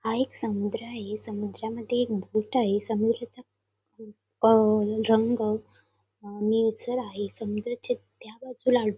हा एक समुद्र आहे समुद्र मध्ये एक बोट आहे समुद्राचा रंग निळसर आहे. समुद्राच्या त्या बाजूला --